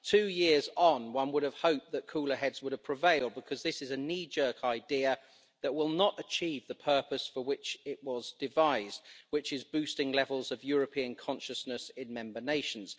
Two years on, one would have hoped that cooler heads would have prevailed, because this is a knee jerk idea that will not achieve the purpose for which it was devised, which is boosting levels of European consciousness in member nations.